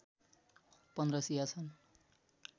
१५ शिया छन्